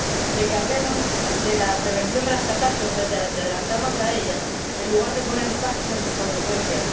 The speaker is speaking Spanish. De que hablemos de la prevención de las catástrofes, de adelantarnos a ellas en lugar de poner parches a sus consecuencias.